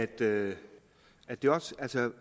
det